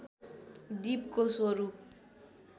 दीपको स्वरूप